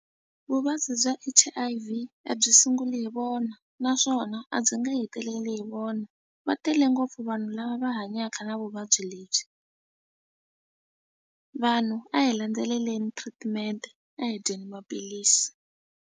Vuvabyi bya H_I_V a byi sunguli hi vona naswona a byi nge heteleli hi vona va tele ngopfu vanhu lava va hanyaka na vuvabyi lebyi. Vanhu a hi landzeleleli treatment a hi dyeni maphilisi.